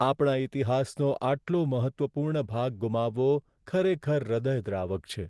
આપણા ઈતિહાસનો આટલો મહત્ત્વપૂર્ણ ભાગ ગુમાવવો ખરેખર હૃદયદ્રાવક છે.